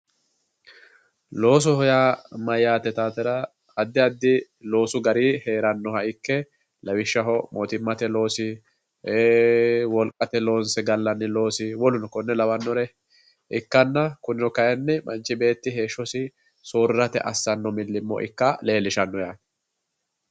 Loosoho ya mayate yitatera addi addi loosu gari heranoha ike lawishaho mootimate loosi ee woliqate loonse galanni loosi woleri kone lawanori ikanna kunino kayinni manchi betti heshosi soorirate asano milimo ika lelishano yatte